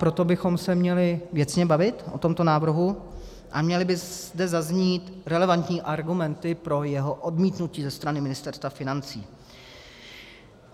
Proto bychom se měli věcně bavit o tomto návrhu a měly by zde zaznít relevantní argumenty pro jeho odmítnutí ze strany Ministerstva financí.